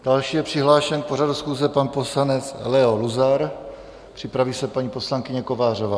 Další je přihlášen k pořadu schůze pan poslanec Leo Luzar, připraví se paní poslankyně Kovářová.